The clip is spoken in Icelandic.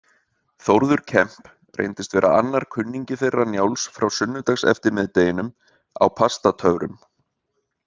Þórður Kemp reyndist vera annar kunningi þeirra Njáls frá sunnudagseftirmiðdeginum á Pastatöfrum.